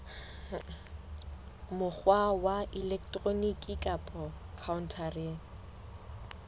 mokgwa wa elektroniki kapa khaontareng